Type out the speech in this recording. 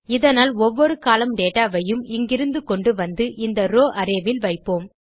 இதனால் ஒவ்வொரு column data வையும் இங்கிருந்து கொண்டுவந்து இந்த ரோவ் அரே இல் வைப்போம்